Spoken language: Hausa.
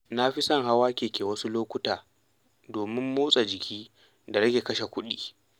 Na fi son hawa keke a wasu lokuta domin motsa jiki da rage kashe kuɗi.